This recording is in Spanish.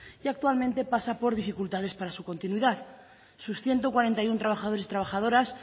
y actualmente pasa por dificultades para su continuidad sus ciento cuarenta y uno trabajadores y trabajadoras